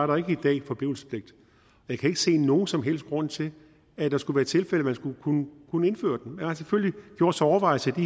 der ikke i dag forblivelsespligt jeg kan ikke se nogen som helst grund til at der skulle være tilfælde hvor man skulle kunne kunne indføre den man har selvfølgelig gjort sig overvejelser